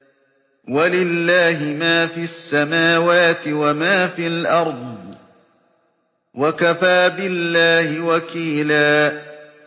وَلِلَّهِ مَا فِي السَّمَاوَاتِ وَمَا فِي الْأَرْضِ ۚ وَكَفَىٰ بِاللَّهِ وَكِيلًا